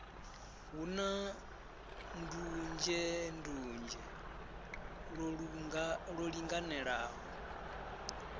hu na ndunzhendunzhe lwo linganelaho